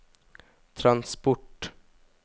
transport